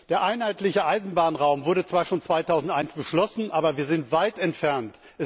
Der einheitliche Eisenbahnraum wurde zwar schon 2001 beschlossen, aber wir sind weit davon entfernt.